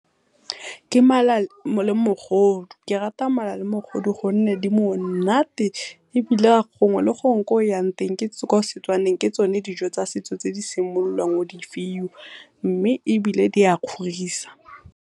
Ke mala le mogodu. Ke rata mala le mogodu gonne di monate ebile gongwe le gongwe ko oyang teng kwa Setswaneng ke tsone dijo tsa setso tse di simollwang o di fiwa mme ebile di a kgorisa.